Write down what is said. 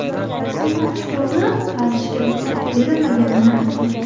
Rasmiylar chuqurni qazishga ruxsat berilmaganini aytgan.